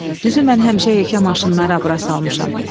Düzü mən həmişə heykə maşınları abra salmışam.